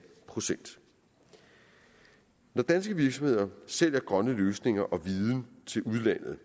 procent når danske virksomheder sælger grønne løsninger og viden til udlandet